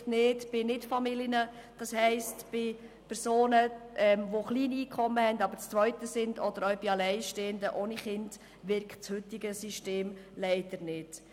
Aber bei Nicht-Familien wie Personen mit kleinem Einkommen, die zu zweit sind, oder auch bei Alleinstehenden ohne Kinder wirkt das heutige System leider nicht.